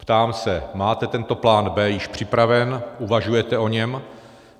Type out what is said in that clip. Ptám se: Máte tento plán b) již připraven, uvažujete o něm?